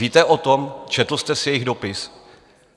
Víte o tom, četl jste si jejich dopis?